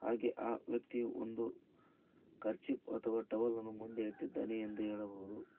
ನನಗೆ ಆ ವ್ಯಕ್ತಿ ಒಂದು ಕರ್ಚೀಪ್ ಅಥವಾ ಟವಲ್ ಅನ್ನು ಮುಂದೆ ಇಟ್ಟಿದ್ದಾನೆ ಎಂದು ಹೇಳಬಹುದು.